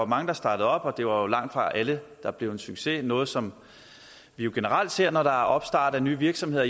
mange der startede op og det var langtfra alle der blev en succes noget som vi generelt ser når der er opstart af nye virksomheder